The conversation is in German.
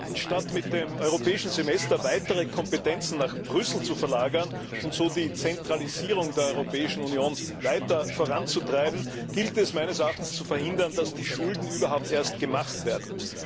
Herr Präsident! Statt mit dem Europäischen Semester weitere Kompetenzen nach Brüssel zu verlagern und so die Zentralisierung der Europäischen Union weiter voranzutreiben, gilt es meines Erachtens zu verhindern, dass die Schulden überhaupt erst gemacht werden.